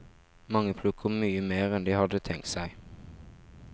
Mange plukker mye mer enn de hadde tenkt seg.